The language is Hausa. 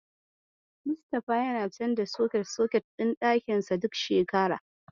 Mustapha yana canza soket-soket ɗin ɗakinsa duk shekara.